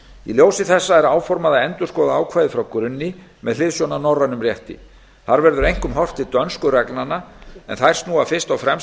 í ljósi þessa er áformað að endurskoða ákvæðið frá grunni með hliðsjón af norrænum rétti þar verður einkum horft til dönsku reglnanna en þær snúa fyrst og fremst